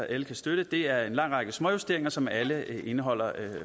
alle kan støtte det er en lang række småjusteringer som alle indeholder